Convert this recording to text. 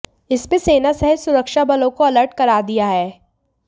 इसमें सेना सहित सुरक्षा बलों को अलर्ट कर दिया है